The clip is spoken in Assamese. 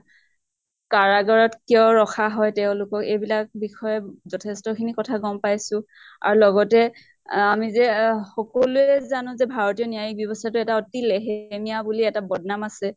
কাৰাগাৰত কিয় ৰখা হয় তেওঁলোকক এইবিলাক বিষয়ে যথেষ্ট খিনি কথা গম পাইছো। আৰু লগতে অহ আমি যে সকলোয়ে জানো যে ভাৰতীয় ন্য়ায়িক ব্য়ৱ্স্থা টো এটা অতি লেহেমীয়া বুলি এটা বদ্নাম আছে।